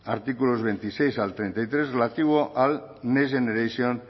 artículos veintiséis al treinta y tres relativo al next generation